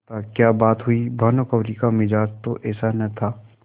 माताक्या बात हुई भानुकुँवरि का मिजाज तो ऐसा न था